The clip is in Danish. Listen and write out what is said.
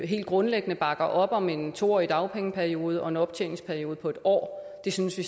helt grundlæggende bakker op om en to årig dagpengeperiode og en optjeningsperiode på en år det synes vi